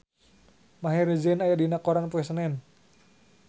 Maher Zein aya dina koran poe Senen